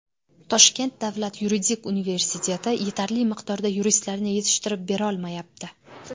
Toshkent davlat yuridik universiteti yetarli miqdorda yuristlarni yetishtirib berolmayapti.